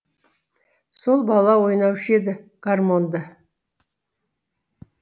сол бала ойнаушы еді гармоньды